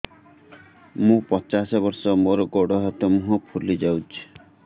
ମୁ ପଚାଶ ବର୍ଷ ମୋର ଗୋଡ ହାତ ମୁହଁ ଫୁଲି ଯାଉଛି